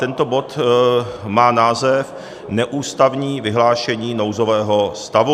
Tento bod má název Neústavní vyhlášení nouzového stavu.